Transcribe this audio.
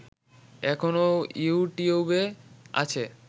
এখনো ইউটিউবে আছে